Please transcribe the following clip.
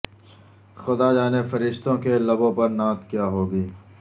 خدا جانے فرشتوں کے لبوں پر نعت کیا ہوگی